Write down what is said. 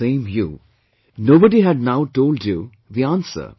It was the same you, nobody had now told you the answer